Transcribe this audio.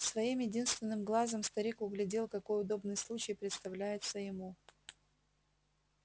своим единственным глазом старик углядел какой удобный случай представляется ему